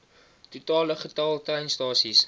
totale getal treinstasies